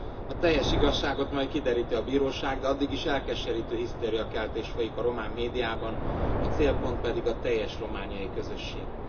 A teljes igazságot majd kideríti a bíróság, de addig is elkeserítő hisztériakeltés folyik a román médiában, a célpont pedig a teljes romániai közösség.